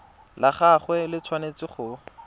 la gagwe le tshwanetse go